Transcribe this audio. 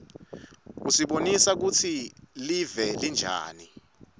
usibonisa kutsi live linjani